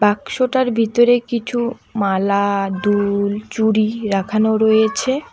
বাক্সটার বিতরে কিছু মালা দুল চুড়ি রাখানো রয়েছে।